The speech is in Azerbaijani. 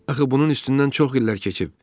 Axı bunun üstündən çox illər keçib.